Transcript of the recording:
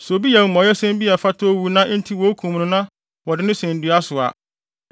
Sɛ obi yɛ amumɔyɛsɛm bi a ɛfata owu na enti wokum no na wɔde no sɛn dua so a,